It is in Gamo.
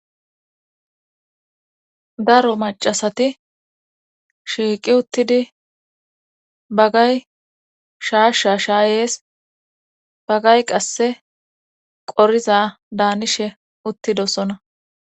daro macasati shiiqi uttidi bagay shaashsha shaayees bagay qasse qoriza daanishe uttidosona